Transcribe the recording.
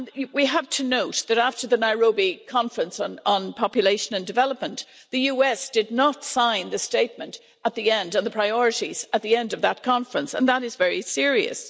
We also have to note that, after the Nairobi Conference on Population and Development, the USA did not sign the statement or the priorities at the end of that conference, and that is very serious.